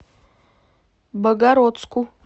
богородску